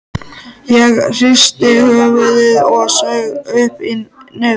Ég hristi höfuðið og saug upp í nefið.